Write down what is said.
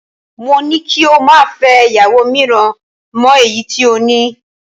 Mo ni kí o má fẹ́ ìyàwó mìíràn mọ èyí tí o ní